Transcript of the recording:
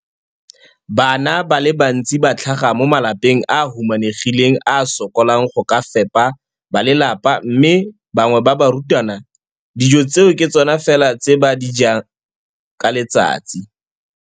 Bana ba le bantsi ba tlhaga mo malapeng a a humanegileng a a sokolang go ka fepa ba lelapa mme ba bangwe ba barutwana, dijo tseo ke tsona fela tse ba di jang ka letsatsi.